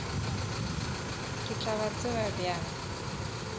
ke tla ba tseba bjang